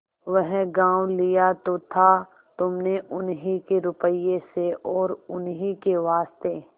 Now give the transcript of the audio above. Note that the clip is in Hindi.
वह गॉँव लिया तो था तुमने उन्हीं के रुपये से और उन्हीं के वास्ते